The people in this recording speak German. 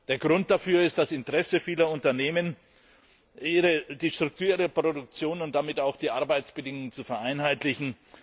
Der Grund dafür ist das Interesse vieler Unternehmen, die Struktur ihrer Produktion und damit auch die Arbeitsbedingungen zu vereinheitlichen.